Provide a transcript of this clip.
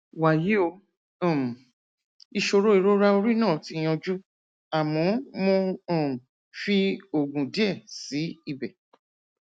wàyí o um ìṣòro ìrora orí náà ti yanjú àmọ mo um fi oògùn díẹ sí ibẹ